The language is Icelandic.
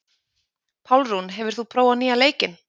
Pálrún, hefur þú prófað nýja leikinn?